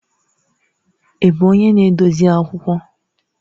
Ị bụ onye na-edozi akwụkwọ?